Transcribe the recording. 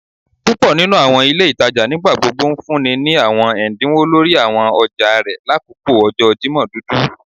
Púpò nínú àwọn ilé ìtajà nigbagbogbo ńfúnni ní àwọn ẹdínwó lórí àwọn ọjà rẹ lakoko ọjọ Jimọ dudu